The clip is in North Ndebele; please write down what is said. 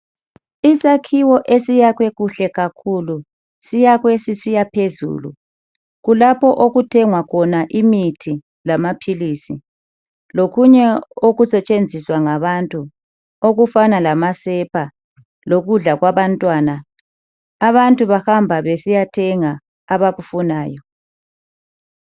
Isakhiwo esiyakhwe kuhle kakhulu, siyakhwe sisiya phezulu. Kulapho okuthengwa khona imithi lamaphilisi lokunye okusetshenziswa ngabantu okufana lamasepa lokudla kwabantwana. Abantu bahamba besiyathenga abakufunayo.